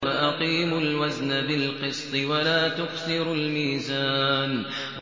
وَأَقِيمُوا الْوَزْنَ بِالْقِسْطِ وَلَا تُخْسِرُوا الْمِيزَانَ